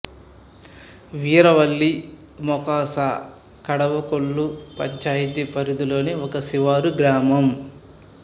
వీరవల్లి మొఖాసా కడవకొల్లు పంచాయతీ పరిధిలోని ఒక శివారు గ్రామం